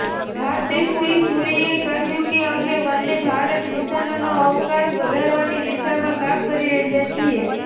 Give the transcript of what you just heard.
હરદીપસિંહ પુરીએ કહ્યું કે અમે વંદે ભારત મિશનનો અવકાશ વધારવાની દિશામાં કામ કરી રહ્યા છીએ